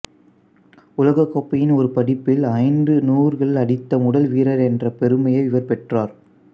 உலகக்கோப்பையின் ஒரு பதிப்பில் ஐந்து நூறுகள் அடித்த முதல் வீரர் என்ற பெருமையை இவர் பெற்றார்